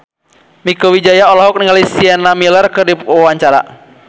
Mieke Wijaya olohok ningali Sienna Miller keur diwawancara